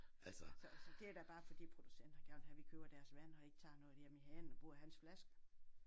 Så så det er da bare fordi producenter gerne vil have vi køber deres vand og ikke tager noget hjemme i hanen og bruger hans flasker